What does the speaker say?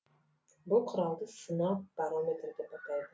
бұл құралды сынап барометрі деп атайды